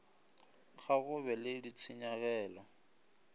ga go be le ditshenyagelo